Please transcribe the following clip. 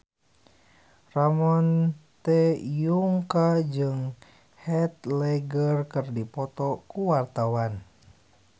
Ramon T. Yungka jeung Heath Ledger keur dipoto ku wartawan